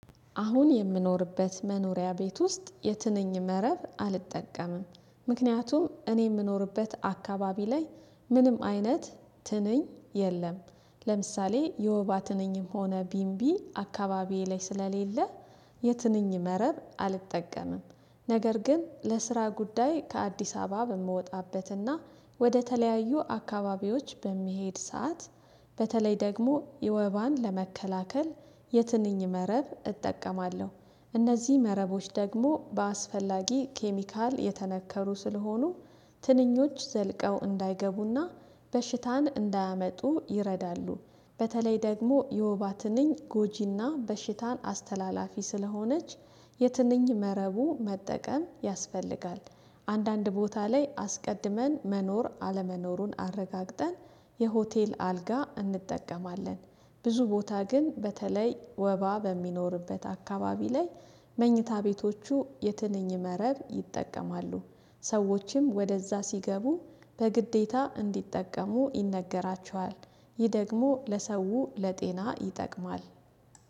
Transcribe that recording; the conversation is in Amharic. አሁን የምኖርበት መኖሪያ ቤት ውስጥ የትንኝ መረብ አልጠቀምም። ምክንያቱም እኔ የምኖርበት አካባቢ ላይ ምንም አይነት ትንኝ የለም። ለምሳሌ የወባ ትንኝም ሆነ ቢንቢ አካባቢዬ ላይ ስለሌለ የትንኝ መረብ አልጠቀምም። ነገር ግን ለስራ ጉዳይ ከአዲስ አበባ በምወጣበትና ወደ ተለያዩ አካባቢዎች በሚሄድ ሰዓት በተለይ ደግሞ የወባን ለመከላከል የትንኝ መረብ እጠቀማለሁ እነዚህ መረቦች ደግሞ በአስፈላጊ ኬሚካል የተነከሩ ስለሆኑ ትንኞች ዘልቀው እንዳይገቡና በሽታን እንዳያመጡ ይረዳሉ። በተለይ ደግሞ የወባ ትንኝ ጎጂና በሽታን አስተላላፊ ስለሆነች የትንኝ መረቡ መጠቀም ያስፈልጋል። አንዳንድ ቦታ ላይ አስቀድመን መኖር አለመኖሩን አረጋግጠን የሆቴል አልጋ እንጠቀማለን። ብዙ ቦታ ግን በተለይ ወባ በሚኖርበት አካባቢ ላይ መኝታ ቤቶቹ የትንኝ መረብ ይጠቀማሉ። ሰዎችም ወደዛ ሲገቡ በግዴታ እንዲጠቀሙ ይነገራቸዋል። ይህ ደግሞ ለሰው ለጤና ይጠቅማል።